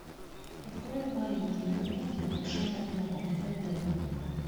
открой маленькие комедии большого дома хэ дэ